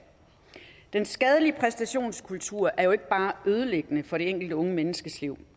den skadelige præstationskultur er jo ikke bare ødelæggende for det enkelte unge menneskes liv